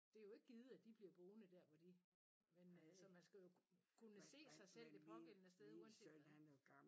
Det jo ikke givet at de bliver boende der hvor de så man skal jo kunne se sig selv det pågældende sted uanset hvad